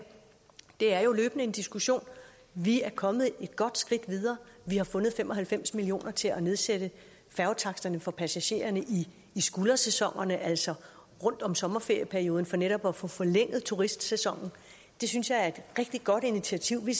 det er jo løbende en diskussion vi er kommet et godt skridt videre vi har fundet fem og halvfems million kroner til at nedsætte færgetaksterne for passagererne i skuldersæsonen altså rundt om sommerferieperioden for netop at få forlænget turistsæsonen det synes jeg er et rigtig godt initiativ vi